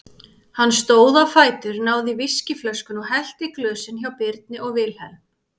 Hann stóð á fætur, náði í viskíflöskuna og hellti í glösin hjá Birni og Vilhelm.